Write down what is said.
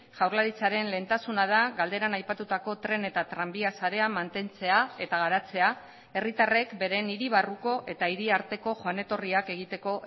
jaurlaritzaren lehentasuna da galderan aipatutako tren eta tranbia sarea mantentzea eta garatzea herritarrek beren hiri barruko eta hiriarteko joan etorriak egiteko